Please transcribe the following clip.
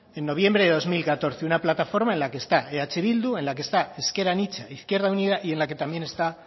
en noviembre de dos mil catorce una plataforma en la que está eh bildu en la que está ezker anitza izquierda unida y en la que también está